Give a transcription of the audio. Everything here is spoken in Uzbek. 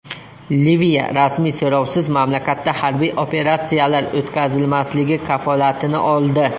Liviya rasmiy so‘rovsiz mamlakatda harbiy operatsiyalar o‘tkazilmasligi kafolatini oldi.